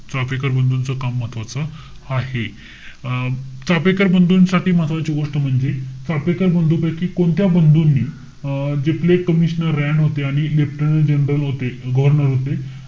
चाफेकर बंधूच काम महत्वाचं आहे. अं चाफेकर बंधूंसाठी महत्वाची गोष्ट म्हणजे, चाफेकर बंधुपैकी कोणत्या बंधूनी, अं जे commissioner रॅन होते आणि leftanant general होते, governor होते.